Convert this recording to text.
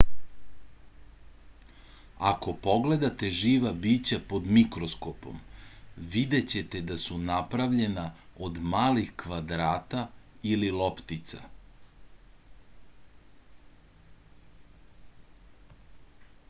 ako pogledate živa bića pod mikroskopom videćete da su napravljena od malih kvadrata ili loptica